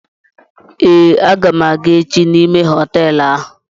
Eé, a ga m èché n'ime hotéélu áhù